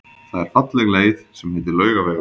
Það er falleg leið sem heitir Laugavegur.